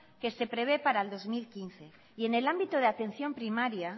que se prevé para el dos mil quince y en el ámbito de atención primaria